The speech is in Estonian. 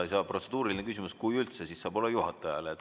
Protseduuriline küsimus saab olla juhatajale.